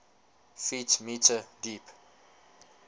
ft m deep